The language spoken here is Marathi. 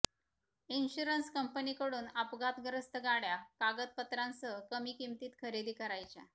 इन्शुरन्स कंपनीकडून अपघातग्रस्त गाडय़ा कागदपत्रांसह कमी किमतीत खरेदी करायच्या